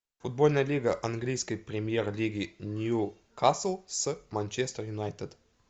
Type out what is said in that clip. футбольная лига английской премьер лиги ньюкасл с манчестер юнайтед